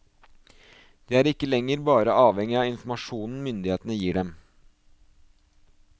De er ikke lenger bare avhengig av informasjonen myndighetene gir dem.